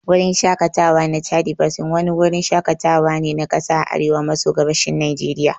Gurin Shakatawa na Chadi Basin wani wurin shakatawa ne na kasa a arewa maso gabashin Najeriya